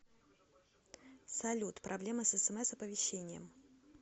салют проблема с смс оповещением